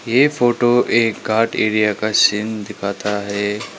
ये फोटो एक घाट एरिया का सीन दिखाता है।